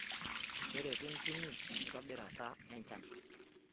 Keretu ntimi enkitobirata echan